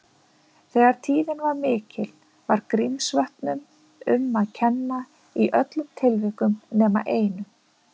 Þegar tíðni var mikil, var Grímsvötnum um að kenna í öllum tilvikum nema einu.